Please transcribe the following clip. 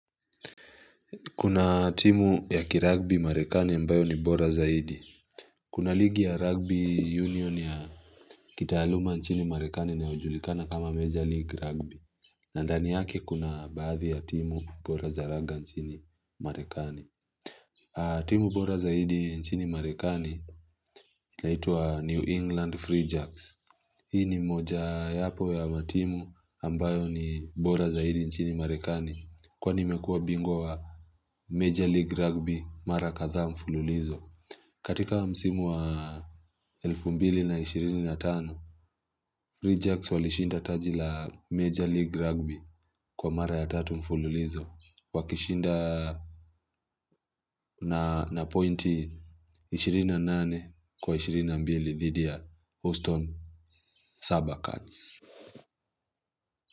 Kuna timu ya kiragbi marekani ambayo ni bora zaidi. Kuna ligi ya rugby union ya kitaaluma nchini marekani inayojulikana kama major league rugby. Na ndani yake kuna baadhi ya timu bora za raga nchini marekani. Timu bora zaidi nchini Marekani inaitwa New England Free Jacks. Hii ni moja yapo ya matimu ambayo ni bora zaidi nchini Marekani kwani imekuwa bingwa wa Major League Rugby mara kadhaa mfululizo. Katika msimu wa 2025, Free Jacks walishinda taji la Major League Rugby kwa mara ya 3 mfululizo. Wakishinda na na pointi 28 kwa 22 dhidi ya Houston Sabacans.